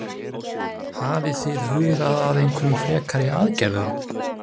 Hafið þið hugað að einhverjum frekari aðgerðum?